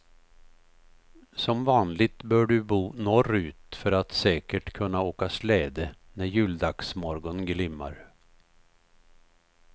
Som vanligt bör du bo norrut för att säkert kunna åka släde när juldagsmorgon glimmar.